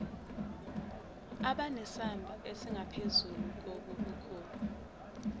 abanesamba esingaphezulu kobukhulu